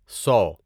سو